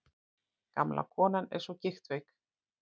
Gamla konan er svo gigtveik.